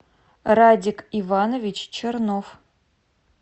радик иванович чернов